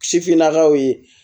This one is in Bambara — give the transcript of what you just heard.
Sifinnakaw ye